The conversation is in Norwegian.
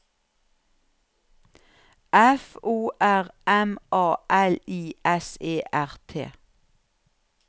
F O R M A L I S E R T